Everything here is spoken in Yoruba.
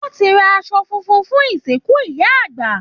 Wọ́n ti ra aṣọ funfun fún ìsìnkù Ìyá àgbà